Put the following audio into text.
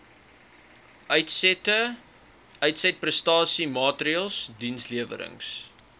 uitsette uitsetprestasiemaatreëls dienslewerings